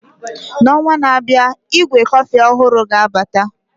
N'ọnwa na-abịa, ígwè kọfị ọhụrụ ga-abata